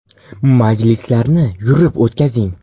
Majlislarni yurib o‘tkazing.